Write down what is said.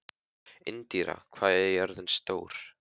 Indíra, hvað er jörðin stór?